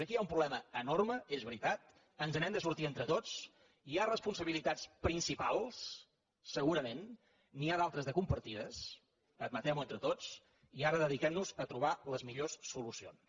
aquí hi ha un problema enorme és veritat ens n’hem de sortir en·tre tots hi ha responsabilitats principals segurament n’hi ha d’altres de compartides admetem·ho entre tots i ara dediquem·nos a trobar les millors solucions